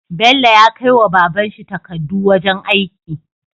Bello ya kai wa babanshi takkadu wajan aiki